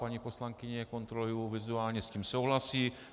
Paní poslankyně, kontroluji vizuálně, s tím souhlasí.